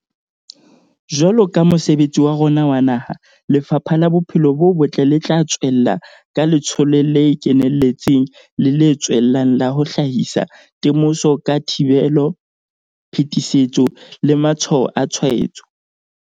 Jwaloka mosebetsi wa rona wa naha, Lefapha la Bophelo bo Botle le tla tswella ka letsholo le keneletseng le le tswellang la ho hlahisa temoso ka thibelo, phetisetso le matshwao a tshwaetso.